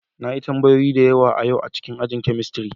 Na yi tambayoyi da yawa a yau a cikin ajin chemistry.